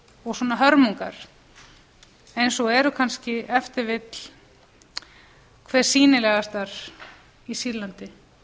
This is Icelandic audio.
og svona hörmungar eins eru kannski ef til vill hve sýnilegastar í sýrlandi